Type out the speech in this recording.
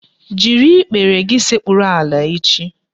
Jiri ikpere gị sekpuru ala echi